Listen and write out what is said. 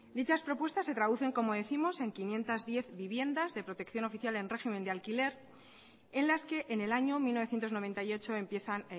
dichas propuestas se traducen como décimos en quinientos diez viviendas de protección oficial en régimen de alquiler en las que en el año mil novecientos noventa y ocho empiezan